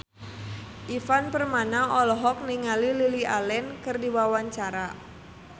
Ivan Permana olohok ningali Lily Allen keur diwawancara